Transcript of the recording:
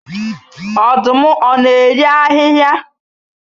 Ọdụm ọ na-eri ahịhịa